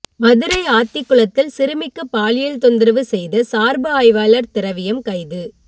மதுரை ஆத்திக்குளத்தில் சிறுமிக்கு பாலியல் தொந்தரவு செய்த சார்பு ஆய்வாளர் திரவியம் கைது